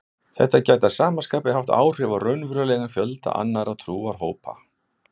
Þetta gæti að sama skapi haft áhrif á raunverulegan fjölda annarra trúarhópa.